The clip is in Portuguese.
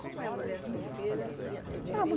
Como é a mulher solteira e é